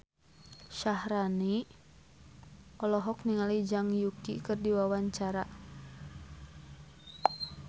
Syaharani olohok ningali Zhang Yuqi keur diwawancara